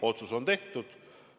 Otsus on tehtud.